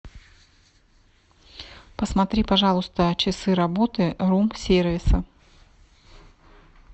посмотри пожалуйста часы работы рум сервиса